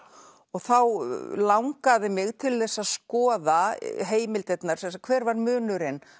þá langaði mig til þess að skoða heimildirnar hver var munurinn